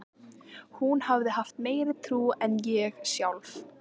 Hún hafði haft meiri trú en ég sjálf.